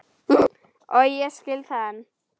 Og ég skil það enn.